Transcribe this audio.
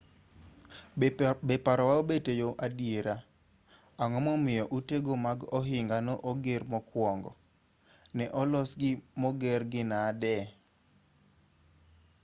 be parowa obet eyor adiera ang'o momiyo utego mag ohinga ne oger mokuongo ne olosgi mogergi nade